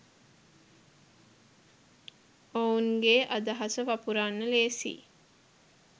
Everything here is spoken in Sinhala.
ඔවුන්ගේ අදහස වපුරන්න ලේසියි.